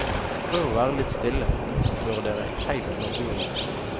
Prøv og vær litt stille, men oppfør dere heilt naturlig.